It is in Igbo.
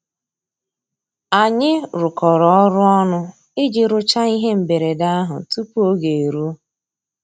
Ànyị́ rụ́kọ̀rọ́ ọ́rụ́ ọnụ́ ìjì rụ́cháá íhé mbérèdé àhụ́ túpú ògé èrúó.